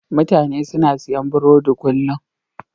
Mutane suna siyan burodi kullum.